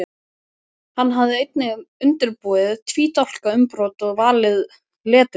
Hann hafði einnig undirbúið tvídálka umbrot og valið leturgerð.